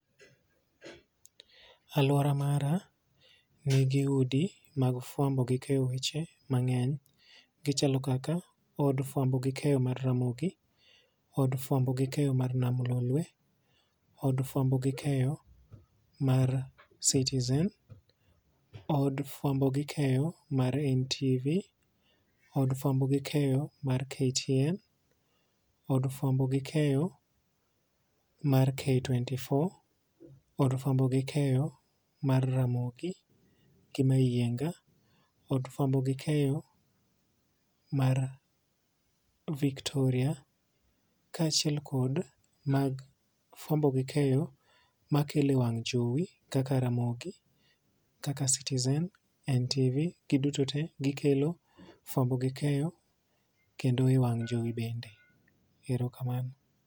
Aluora mara nigi udi mag fwambo gi keyo weche mangeny gichalo kaka od fwamo gi keyo mar ramogi, od fwamo gi keyo mar nam lolwe, od fwamo gi keyo mar citizen, od fwamo gi keyo mar NTV, od fwamo gi keyo mar ktn, od fwamo gi keyo mar k twenty four, od fwamo gi keyo mar ramogi gi mayienga, od fwambo gi keyo mar viktoria kaachiel kod mag fwambo gi keyo makele wang' jowi kaka ramogi, kaka citizen, NTV .Giduto te gikelo fwambo gi keyo kendo e wang' jowi bende erokamano.